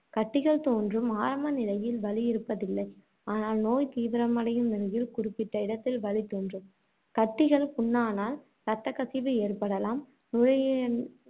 கட்டிகள் தோன்றும் ஆரம்ப நிலையில் வலி இருப்பதில்லை. ஆனால், நோய் தீவிரமடையும் நிலையில், குறிப்பிட்ட இடத்தில் வலி தோன்றும். கட்டிகள் புண்ணானால், இரத்தக்கசிவு ஏற்படலாம். நுரையீரல்